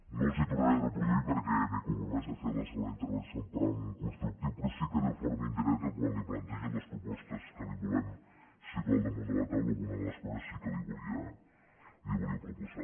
no les hi tornaré a reproduir perquè m’he compromès a fer la segona intervenció amb to constructiu però sí que de forma indirecta quan li plantegi les propostes que li volem situar al damunt de la taula alguna de les coses sí que la hi volia proposar